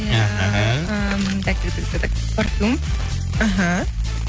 іхі ыыы так порфюм іхі